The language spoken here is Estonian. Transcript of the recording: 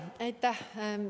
Aitäh!